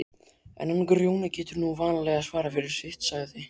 En hann Grjóni getur nú vanalega svarað fyrir sitt, sagði